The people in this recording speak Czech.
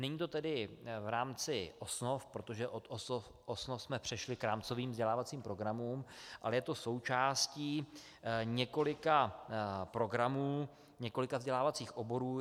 Není to tedy v rámci osnov, protože od osnov jsme přešli k rámcovým vzdělávacím programům, ale je to součástí několika programů, několika vzdělávacích oborů.